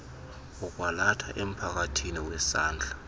wokwalatha emphakathini wesandla